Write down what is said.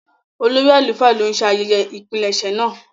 Olórí àlùfáà ló ń ṣe ayẹyẹ ìpilẹ̀ṣẹ̀ náà.